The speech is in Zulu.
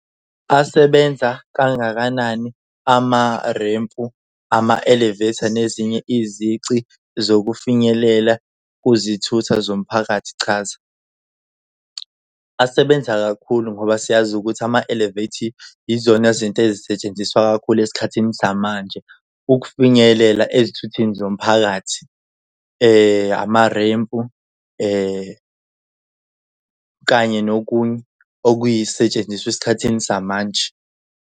Asebenza kangakanani amarempu ama-elevator nezinye izici zokufinyelela kuzithutha zomphakathi chaza. Asebenza kakhulu ngoba siyazi ukuthi ama-elevative yizona zinto ezisetshenziswa kakhulu esikhathini samanje ukufinyelela ezithuthini zomphakathi. Amarempu kanye nokunye okuyisetshenziswa esikhathini samanje.